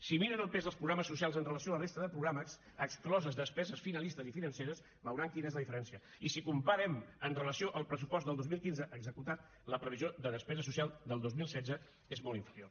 si miren el pes dels programes socials amb relació a la resta de programes excloses despeses finalistes i financeres veuran quina és la diferència i si comparem amb relació al pressupost del dos mil quinze executat la previsió de despesa social del dos mil setze és molt inferior